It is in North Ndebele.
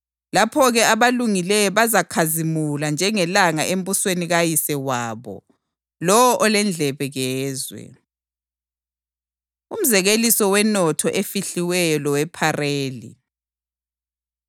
Lapho-ke, abalungileyo bazakhazimula njengelanga embusweni kaYise wabo. Lowo olendlebe, kezwe.” Umzekeliso Wenotho Efihliweyo Lowephareli